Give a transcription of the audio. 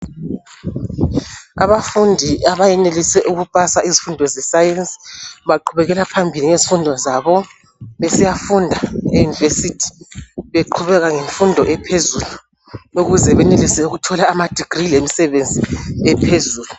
Abafundi abayenelise ukupasa izifundo zabo zescience baqhubekela phambili ngezifundo zabo besiyafunda e university beqhubeka ngemfundo ephezulu ukuze benelise ukuthola amadegree lemisebenzi ephezulu.